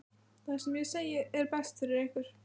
Það sem ég segi er best fyrir ykkur.